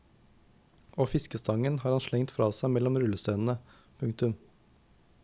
Og fiskestangen har han slengt fra seg mellom rullestenene. punktum